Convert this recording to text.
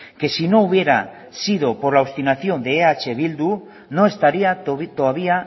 que si no hubiera sido por la obstinación de eh bildu no estaría todavía